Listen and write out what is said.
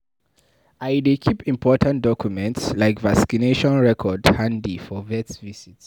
I dey keep important documents like vaccination records handy for vet visits